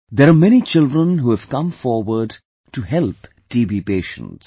There are many children who have come forward to help TB patients